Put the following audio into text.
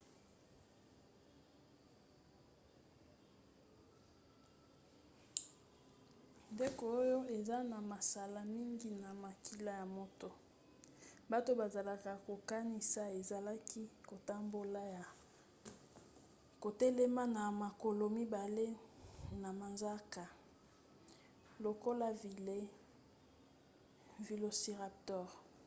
ndeke oyo eza na masala mingi pe makila ya moto bato bazalaki kokanisa ezalaki kotambola ya kotelema na makolo mibale na manzaka lokola velociraptor